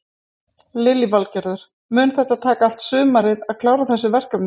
Lillý Valgerður: Mun þetta taka allt sumarið að klára þessi verkefni?